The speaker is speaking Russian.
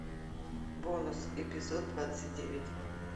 бонус эпизод двадцать девять